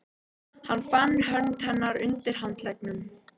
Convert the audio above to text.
Fann fyrir hönd hennar undir handleggnum.